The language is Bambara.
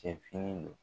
Cɛ fini don